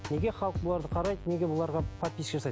неге халық бұларды қарайды неге оларға подписчик жасайды